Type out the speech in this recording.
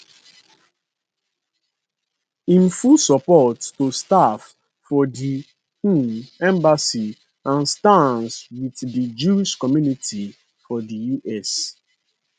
im full support to staff for di um embassy and stands wit di jewish community for di us